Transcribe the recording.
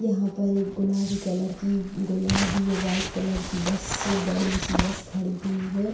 यहां पर एक गुलाबी कलर की गुलाबी और वाइट कलर की बस बड़ी सी बस खड़ी हुई है|